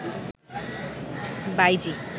বাঈজী